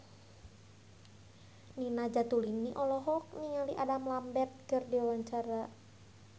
Nina Zatulini olohok ningali Adam Lambert keur diwawancara